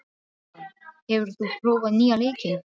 Eragon, hefur þú prófað nýja leikinn?